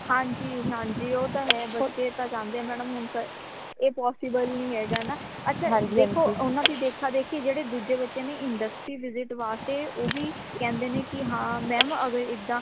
ਹਾਂਜੀ ਹਾਂਜੀ ਉਹ ਤਾ ਹੈ ਬੱਚੇ ਤਾ ਚਾਂਦੇ ਹੈ madam ਹੁਣ ਐ possible ਨੀ ਹੈਗਾ ਨਾ ਅੱਛਾ ਦੇਖੋ ਓਨਾ ਦੇ ਦੇਖਾ ਦੇਖ਼ੀ ਜੇੜੇ ਦੂਜੇ ਬੱਚੇ ਨੇ industry visit ਵਾਸਤੇ ਉਹ ਵੀ ਕਹਿੰਦੇ ਨੇ ਕਿ ਹਾਂ mam ਅਗਰ ਏਦਾਂ